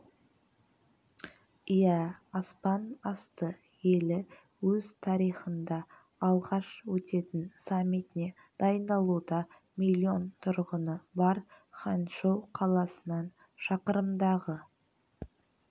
иә аспан асты елі өз тарихында алғаш өтетін саммитіне дайындалуда миллион тұрғыны бар ханчжоу қаласынан шақырымдағы